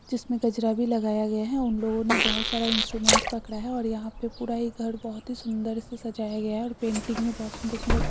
जिसमे गजरा भी लगाया गया हैउन लोगो ने बहुत सारा इन्स्ट्रुमेंटस पकड़ा है यहां पे ये पूरा ये घर बहोत ही सुंदर से सजाया गया है और पेन्टिंग मे बहुत सुंदर-सुंदर---